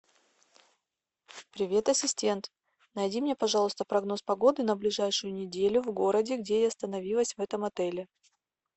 привет ассистент найди мне пожалуйста прогноз погоды на ближайшую неделю в городе где я остановилась в этом отеле